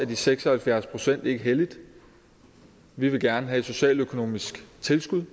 de seks og halvfjerds procent ikke hellige vi vil gerne have et socialøkonomisk tilskud